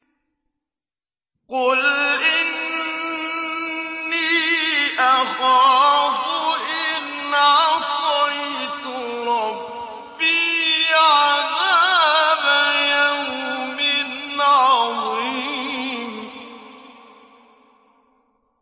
قُلْ إِنِّي أَخَافُ إِنْ عَصَيْتُ رَبِّي عَذَابَ يَوْمٍ عَظِيمٍ